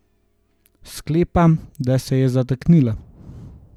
Sklepam, da se je zataknila.